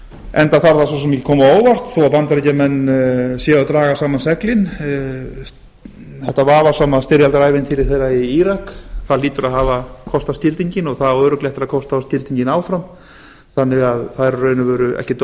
enda þarf það svo sem ekki að koma á óvart þó bandaríkjamenn séu að draga saman seglin þetta vafasama styrjaldarævintýri þeirra í írak hlýtur að hafa kostað skildinginn og það á örugglega eftir að kosta þá skildinginn áfram þannig að það er í raun